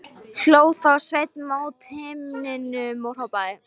Hló þá Sveinn mót himninum og hrópaði: